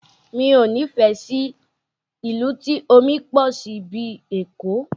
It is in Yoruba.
Mi ò nífẹ̀ẹ́ sí ìlú tí omi pọ̀ sí bíi Èkó